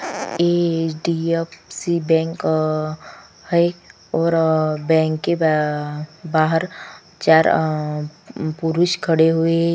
ए H D F C bank आ है और बैंक के बाहर चार आ पुरुष खड़े हुए--